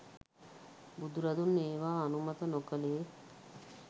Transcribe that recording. බුදුරදුන් ඒවා අනුමත නොකළේ